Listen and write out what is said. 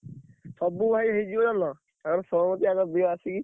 ସବୁ ଭାଇ ହେଇଯିବ ଜାଣିଲ।